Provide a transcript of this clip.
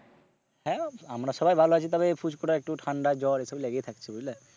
হ্যাঁ, আমরা সবাই ভালো আছি তবে পুচকু টার একটু ঠান্ডা জ্বর এইসব লেগেই থাকছে বুঝলে।